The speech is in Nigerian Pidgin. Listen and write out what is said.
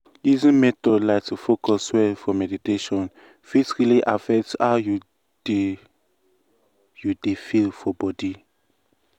easy method like to focus well for meditation fit really affect how you dey you dey feel for body.